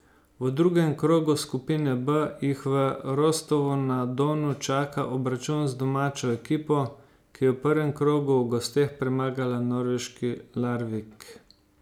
V drugem krogu skupine B jih v Rostovu na Donu čaka obračun z domačo ekipo, ki je v prvem krogu v gosteh premagala norveški Larvik.